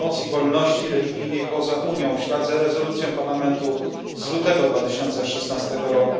promocji wolności religijnej poza Unią, w ślad za rezolucją Parlamentu z lutego 2016 r.